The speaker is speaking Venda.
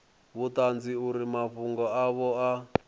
vhuṱanzi uri mafhungo avho a